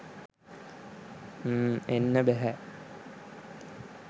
ම් එන්න බැහැ